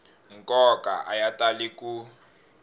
nkoka a ya tali ku